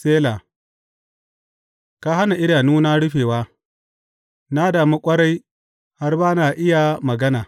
Sela ka hana idanuna rufewa; na damu ƙwarai har ba na iya magana.